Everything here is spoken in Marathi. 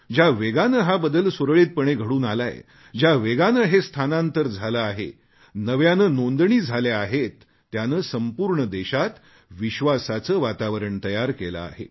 ज्या वेगाने हा बदल सुरळीतपणे घडून आलाय ज्या वेगाने हे स्थानांतर झाले आहे नव्याने नोंदणी झाल्या आहे त्याने संपूर्ण देशात विश्वासाचे वातावरण तयार केले आहे